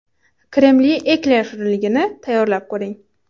Kremli ekler shirinligini tayyorlab ko‘ring.